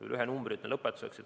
Veel ühe numbri ütlen lõpetuseks.